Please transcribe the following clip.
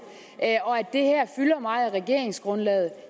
og at det her fylder meget i regeringsgrundlaget